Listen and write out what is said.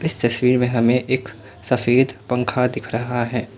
इस तस्वीर में हमें एक सफेद पंखा दिख रहा है।